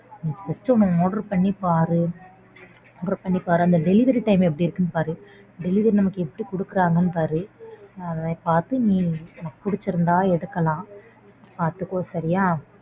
நீ First ஒன்னு order பண்ணி பாரு. order பண்ணி பாரு. அந்த delivery time எப்படி இருக்குனு பாரு delivery நமக்கு எப்படி குடுக்கறாங்கன்னு பாரு அத பார்த்து நீ உனக்கு பிடிச்சிருந்தா எடுக்கலாம் பார்த்துக்கோ சரியா.